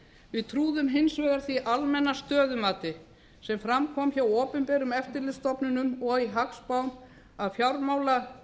við trúðum hins vegar því almenna stöðumati sem fram kom hjá opinberum eftirlitsstofnunum og í hagspám að